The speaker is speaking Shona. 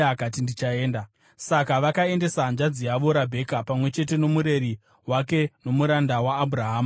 Saka vakaendesa hanzvadzi yavo Rabheka, pamwe chete nomureri wake nomuranda waAbhurahama navanhu vake.